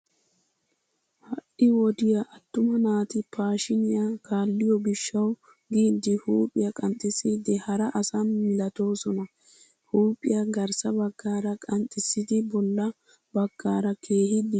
Ha"i wodiya attuma naati paashiiniya kaalliyo gishshawu giidi huuphiya qanxxissiiddi hara asa milatoosona. Huuphiya garssa baggaara qanxxissidi bolla baggaara keehi dichchoosona.